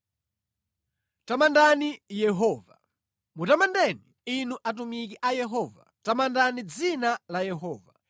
Tamandani Yehova. Mutamandeni, inu atumiki a Yehova, tamandani dzina la Yehova.